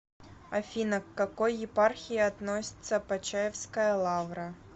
афина к какой епархии относится почаевская лавра